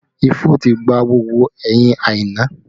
Ifo ti gba gbogbo ẹyin Aina